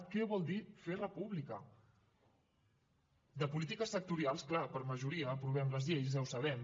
què vol dir fer república de polítiques sectorials clar per majoria aprovem les lleis ja ho sabem